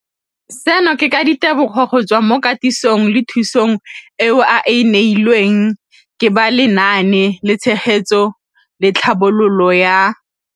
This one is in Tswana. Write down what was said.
Seno ke ka ditebogo go tswa mo katisong le thu song eo a e neilweng ke ba Lenaane la Tshegetso le Tlhabololo ya